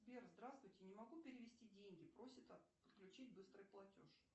сбер здравствуйте не могу перевести деньги просит отключить быстрый платеж